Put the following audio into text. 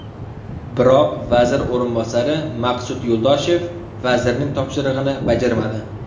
Biroq vazir o‘rinbosari Maqsud Yo‘ldoshev vazirning topshirig‘ini bajarmadi.